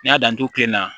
N y'a dan n t'o kilen na